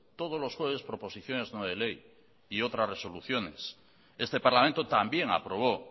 todos los jueves proposiciones no de ley y otras resoluciones este parlamento también aprobó